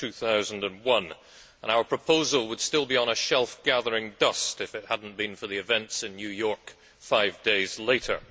2001. Our proposal would still be on a shelf gathering dust if it had not been for the events in New York five days later.